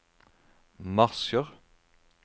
marsjer